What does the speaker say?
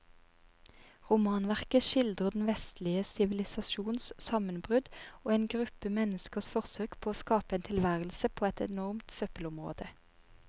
Romanverket skildrer den vestlige sivilisasjons sammenbrudd og en gruppe menneskers forsøk på å skape en tilværelse på et enormt søppelområde.